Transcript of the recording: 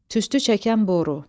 Tüstü çəkən boru.